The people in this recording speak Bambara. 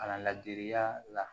Kalan ladiriya la